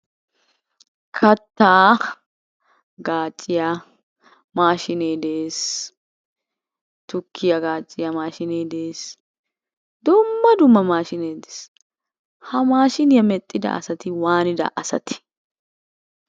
Kattaa gaaciya maashshinee de'ees, tukkiya gaacciya mashshinee de'ees dumma dumma mashinee beettees. Ha mashiniya mexxida asati wanida asate?